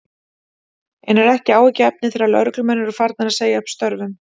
En er ekki áhyggjuefni þegar lögreglumenn eru farnir að segja upp störfum?